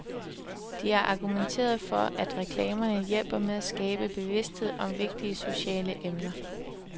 De har argumenteret for, at reklamerne hjælper med at skabe bevidsthed om vigtige sociale emner.